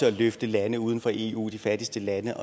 at løfte lande uden for eu de fattigste lande